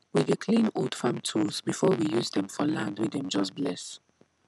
we dey clean old farm tools before we use dem for land wey dem just bless